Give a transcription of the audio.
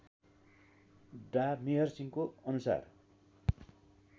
डा मेहर सिंहको अनुसार